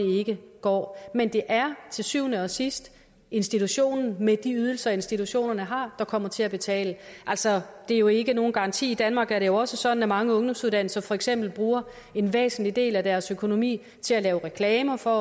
ikke går men det er til syvende og sidst institutionen med de ydelser institutionen har der kommer til at betale altså er jo ikke nogen garanti i danmark er det jo også sådan at mange ungdomsuddannelser for eksempel bruger en væsentlig del af deres økonomi til at lave reklamer for